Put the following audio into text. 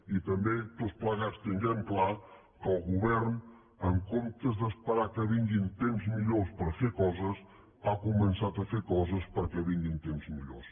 i també tots plegats tinguem clar que el govern en comptes d’esperar que vinguin temps millors per fer coses ha començat a fer coses perquè vinguin temps millors